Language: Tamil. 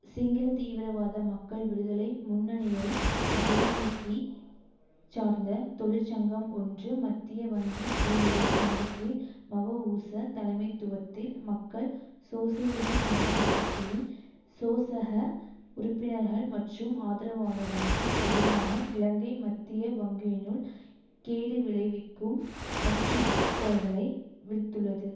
சிங்கள தீவிரவாத மக்கள் விடுதலை முன்னணியை ஜேவிபி சார்ந்த தொழிற்சங்கம் ஒன்று மத்திய வங்கி ஊழியர் சங்கத்தின் மவஊச தலைமைத்துவத்தில் மக்கள் சோசியலிச சமத்துவ கட்சியின் சோசக உறுப்பினர்கள் மற்றும் ஆதரவாளர்களுக்கு எதிராக இலங்கை மத்திய வங்கியினுள் கேடுவிளைவிக்கும் அச்சுத்தல்களை விடுத்துள்ளது